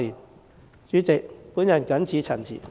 代理主席，我謹此陳辭。